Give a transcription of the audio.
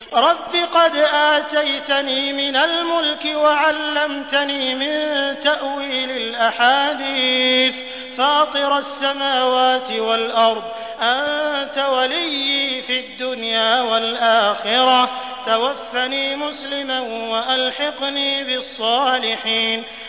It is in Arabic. ۞ رَبِّ قَدْ آتَيْتَنِي مِنَ الْمُلْكِ وَعَلَّمْتَنِي مِن تَأْوِيلِ الْأَحَادِيثِ ۚ فَاطِرَ السَّمَاوَاتِ وَالْأَرْضِ أَنتَ وَلِيِّي فِي الدُّنْيَا وَالْآخِرَةِ ۖ تَوَفَّنِي مُسْلِمًا وَأَلْحِقْنِي بِالصَّالِحِينَ